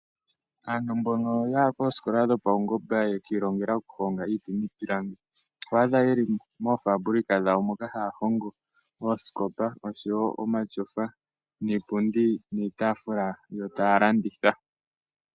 Aantu mbono ya ya koosikola dhopawungomba ya kiilongela okuhonga iiti niipilangi, oho adha ye li moofambulika dhawo moka haya hongo oosikopa oshowo omatyofa niipundi niitaafula yo taa landitha.